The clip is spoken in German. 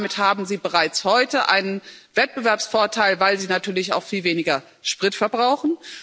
Damit haben sie bereits heute einen Wettbewerbsvorteil, weil sie natürlich auch viel weniger Sprit verbrauchen.